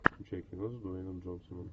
включай кино с дуэйном джонсоном